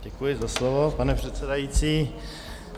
Děkuji za slovo, pane předsedající.